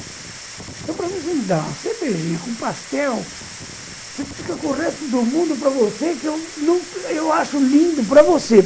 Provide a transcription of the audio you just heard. Eu, para mim, você me dá uma cervejinha com pastel, você fica com o resto do mundo para você que eu acho lindo para você.